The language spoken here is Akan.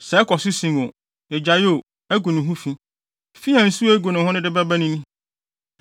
Sɛ ɛkɔ so sen o, egyae o, agu ne ho fi. Fi a nsu a egu no no de bɛba ni: